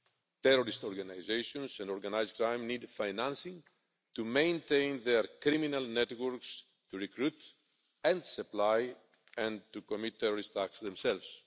Terrorist organisations and organised crime need financing to maintain their criminal networks, to recruit and supply, and to commit terrorist acts themselves.